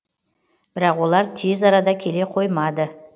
бірақ олар тез арада келе қоймады